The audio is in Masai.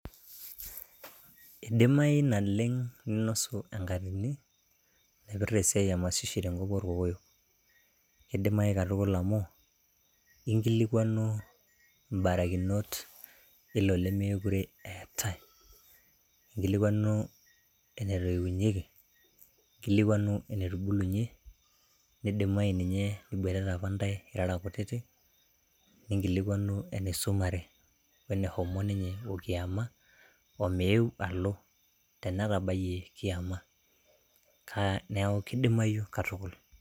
Idimayu naleng ninosuenkatini nairpirta enkolong emashishi te enkop orkokoyo . Kidimayu katukul amu inkilikwanu imbarakinot ilo lemekure eetae . Inkilikwanu ene toiunyieki, inkilikwanu enetubulunyie , nidimayu ninye niboitata apa ntae irara kutitik , ninkilikwanu enisumare wene homo ninye okiama omeu alo ,tenetabayie kiama. Niaku kidimayu katukul.